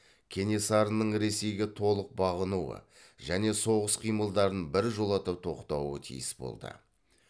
кенесарының ресейге толық бағынуы және соғыс қимылдарын біржолата тоқтауы тиіс болды